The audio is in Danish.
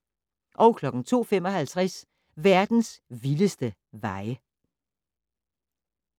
02:55: Verdens vildeste veje